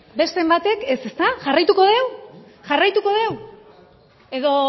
beste batek ez ezta jarraituko dugu jarraituko dugu edo